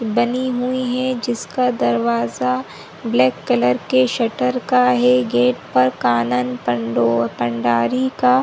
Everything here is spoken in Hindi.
--बनी हुई है जिसका दरवाजा ब्लैक कलर के शटर का है गेट पर कानन पंडारी का --